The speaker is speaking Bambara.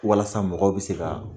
Walasa mɔgɔw bɛ se ka